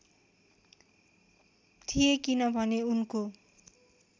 थिए किनभने उनको